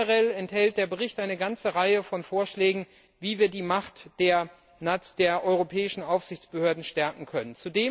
Generell enthält der Bericht eine ganze Reihe von Vorschlägen, wie wir die Macht der europäischen Aufsichtsbehörden stärken können.